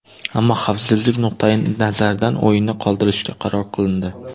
Ammo xavfsizlik nuqtai nazaridan o‘yinni qoldirishga qaror qilindi.